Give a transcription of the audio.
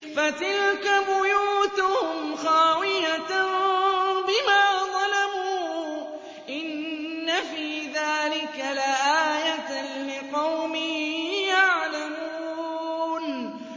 فَتِلْكَ بُيُوتُهُمْ خَاوِيَةً بِمَا ظَلَمُوا ۗ إِنَّ فِي ذَٰلِكَ لَآيَةً لِّقَوْمٍ يَعْلَمُونَ